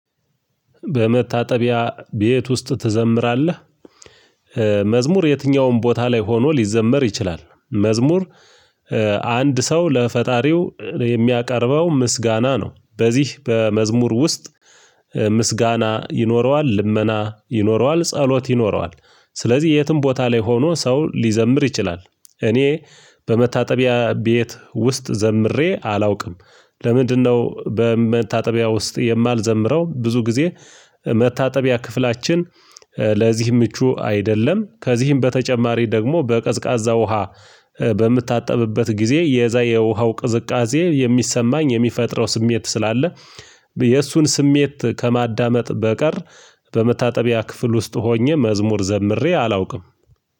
በመታጠቢያ ቤት ውስጥ ትዘምራለህ? መዝሙር የትኛውም ቦታ ላይ ሆኖ ሊዘመር ይችላል። መዝሙር አንድ ሰው ለፈጣሪው የሚያቀርበው ምስጋና ነው። በዚህ በመዝሙር ውስጥ። ምስጋና ይኖረዋል ልመና ይኖረዋል ጸሎት ይኖረዋል። ስለዚህ የትም ቦታ ላይ ሆኖ ሰው ሊዘምር ይችላል። እኔ በመታጠቢያ ቤት ውስጥ ዘምሬ አላውቅም። ለምንድነው በመታጠቢያ ውስጥ የማልዘምረው ብዙ ጊዜ? መታጠቢያ ክፍላችን ለዚህ ምቹ አይደለም። ከዚህም በተጨማሪ ደግሞ በቀዝቃዛ ውሃ በምታጠብበት ጊዜ የዛ የውሃው ቅዝቃዜ የሚሰማኝ የሚፈጥረው ስሜት ስላለ። የእሱን ስሜት ከማዳመጥ በቀር። በመታጠቢያ ክፍል ውስጥ ሆኜ መዝሙር ዘምሬ አላውቅም።